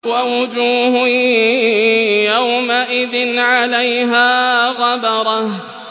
وَوُجُوهٌ يَوْمَئِذٍ عَلَيْهَا غَبَرَةٌ